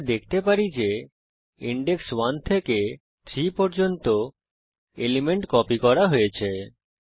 আমরা দেখতে পারি যে ইনডেক্স 1 থেকে 3 পর্যন্ত এলিমেন্ট কপি করা হয়েছে